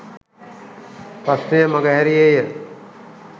ප්‍රශ්නය මඟහැරීයේ ය